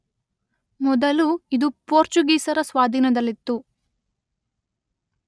ಮೊದಲು ಇದು ಪೋರ್ಚುಗೀಸರ ಸ್ವಾಧೀನದಲ್ಲಿತ್ತು.